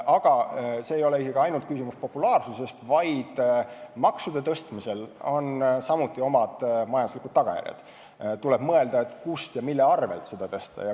Aga see ei ole isegi ainult populaarsuse küsimus, vaid maksude tõstmisel on samuti majanduslikud tagajärjed, st tuleb mõelda, kust ja mille arvel neid tõsta.